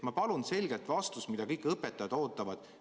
Ma palun selget vastust, mida kõik õpetajad ootavad.